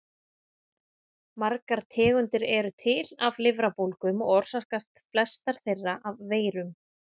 Margar tegundir eru til af lifrarbólgum og orsakast flestar þeirra af veirum.